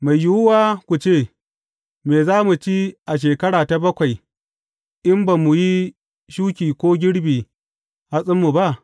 Mai yiwuwa ku ce, Me za mu ci a shekara ta bakwai in ba mu yi shuki ko girbin hatsinmu ba?